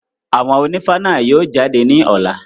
Àwọn ònífá náà yóò jáde ní ọ̀la.